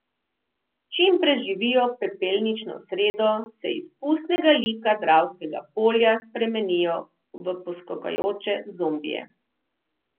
Čim preživijo pepelnično sredo, se iz pustnega lika Dravskega polja spremenijo v poskakujoče zombije.